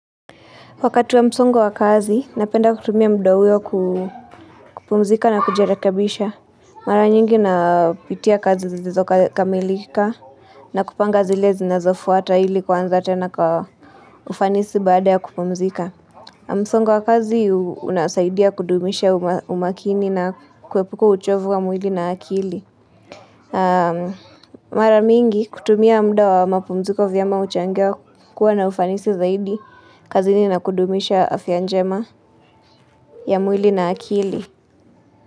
Wakati wa msongo wa kazi, napenda kutumia muda huo kupumzika na kujirekebisha. Mara nyingi napitia kazi zilizokamilika na kupanga zile zinazofuata ili kuanza tena kwa ufanisi baada ya kupumzika. Msongo wa kazi unasaidia kudumisha umakini na kuepuka uchovu wa mwili na akili. Mara mingi kutumia muda wa mapumziko vyema huchangia kuwa na ufanisi zaidi kazini na kudumisha afya njema ya mwili na akili.